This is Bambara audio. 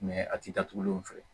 a ti datugulen fɛ